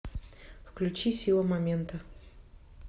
включи сила момента